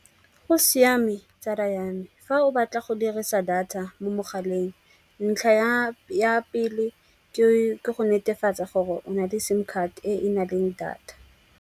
Go siame tsala ya me fa o batla go dirisa data mo mogaleng ntlha ya pele ke go netefatsa gore o na le sim card e e na leng data.